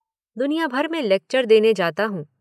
दुनिया भर में लेक्चर देने जाता हूँ।